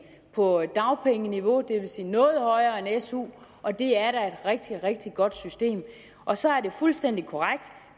på dagpengeniveau det vil sige noget højere end su og det er da et rigtig rigtig godt system og så er det fuldstændig korrekt